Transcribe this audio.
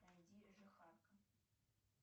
найди жихарка